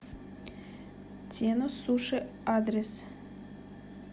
тенно суши адрес